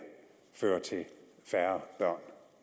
fører til færre børn